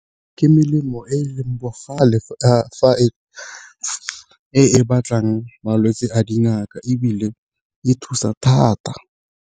Ke melemo e e leng bogale e e batlang malwetse a dingaka, ebile e thusa thata.